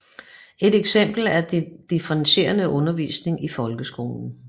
Et eksempel er den differentierede undervisning i folkeskolen